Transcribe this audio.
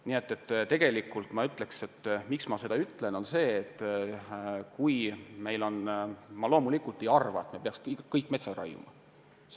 Nii et tegelikult ma ütleks, et ma loomulikult ei arva, et peaksime kõik metsad maha raiuma.